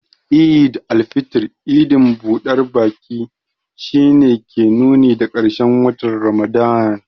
Eid al-fitr, idin budar baki, shi ne ke nuni da karshen watan Ramadan.